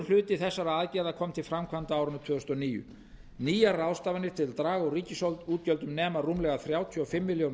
hluti þessara aðgerða kom til framkvæmda á árinu tvö þúsund og níu nýjar ráðstafanir til að draga úr ríkisútgjöldum nema rúmlega þrjátíu og fimm milljörðum